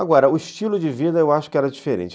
Agora, o estilo de vida eu acho que era diferente.